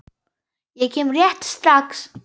Ég kem rétt strax.